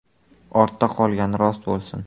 Ortda qolgani rost bo‘lsin.